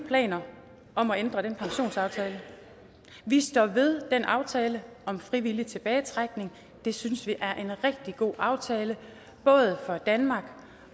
planer om at ændre den pensionsaftale vi står ved den aftale om frivillig tilbagetrækning det synes vi er en rigtig god aftale både for danmark